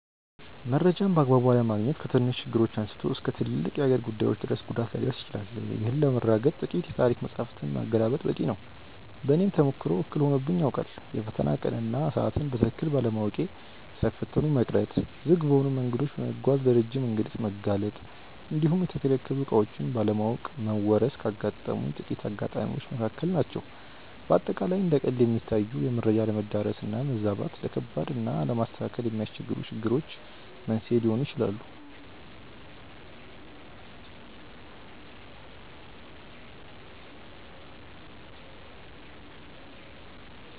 መረጃን በአግባቡ አለማግኘት ከትንንሽ ችግሮች አንስቶ እስከ ትልልቅ የሀገር ጉዳዮች ድረስ ጉዳት ሊያደርስ ይችላል። ይህንን ለማረጋገጥ ጥቂት የታሪክ መጻሕፍትን ማገላበጥ በቂ ነው። በእኔም ተሞክሮ እክል ሆኖብኝ ያውቃል። የፈተና ቀንን እና ሰዓትን በትክክል ባለማወቅ ሳይፈተኑ መቅረት፣ ዝግ በሆኑ መንገዶች በመጓዝ ለረጅም እንግልት መጋለጥ እንዲሁም የተከለከሉ ዕቃዎችን ባለማወቅ መወረስ ካጋጠሙኝ ጥቂት አጋጣሚዎች መካከል ናቸው። በአጠቃላይ እንደ ቀልድ የሚታዩ የመረጃ አለመዳረስ እና መዛባት፣ ለከባድ እና ለማስተካከል ለሚያስቸግሩ ችግሮች መንስኤ ሊሆኑ ይችላሉ።